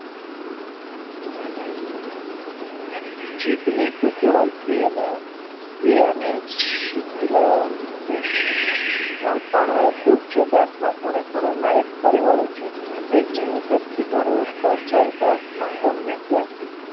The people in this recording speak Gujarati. જીભની કુટેવ એવાને અદભુત છે ખૂણે ખૂણામાં ફરી વળે છે એક જીની સરખી ધરુલ વાતમાં ગમે ત્યાંથી